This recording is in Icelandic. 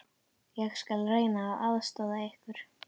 Ég skal reyna að aðstoða ykkur.